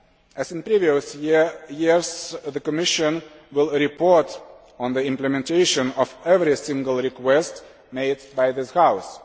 As in previous years, the Commission will report on the implementation of every single request made by this House.